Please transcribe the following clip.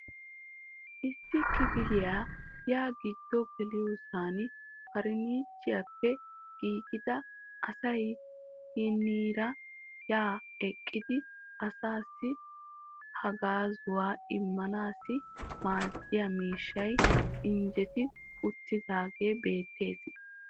Issi kifiliyaa yaa giddo geliyyoosan farannicheriyaappe giigida asay hiniira ha eqqidi asassi haggaazzuwa immanaw maaddiyaa miishshay injjetti uttiidaage beettees .